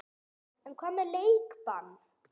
En hvað um leikbann?